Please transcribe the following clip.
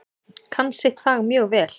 Kann sitt fag mjög vel.